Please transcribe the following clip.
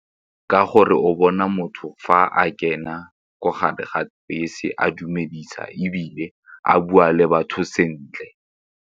Ka gore o bona motho fa a kena ko gare ga bese a dumedisa ebile a bua le batho sentle.